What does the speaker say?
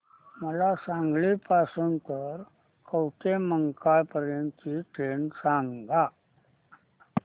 मला सांगली पासून तर कवठेमहांकाळ पर्यंत ची ट्रेन सांगा